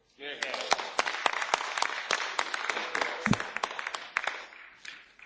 Domnule președinte, stimați colegi, Brexitul a creat un fenomen de dependență.